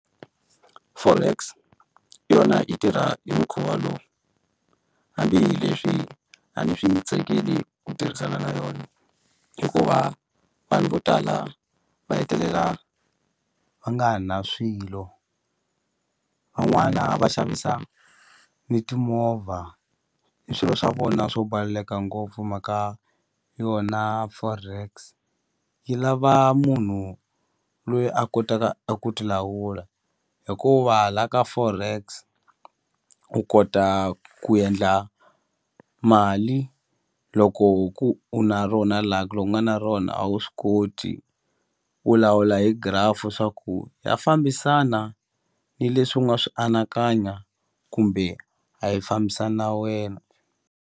Forex yona yi tirha hi mukhuva lowu hambi hi leswi a ni swi tsakeli ku tirhisana na yona hikuva vanhu vo tala va hetelela va nga na swilo van'wana va xavisaka ni timovha ni swilo swa vona swo ngopfu hi mhaka yona forex yi lava munhu loyi a kotaka a ku ti lawula hikuva la ka forex u kota ku endla mali loko hu ku u na rona lucky loko u nga na rona a wu swi koti u lawula hi graph swa ku ya fambisana ni leswi u nga swi anakanya kumbe a yi fambisani na wena.